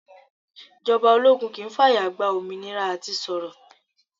Ìjọba ológun kì i fàyà gba òmìnira à ti sọ̀rọ̀.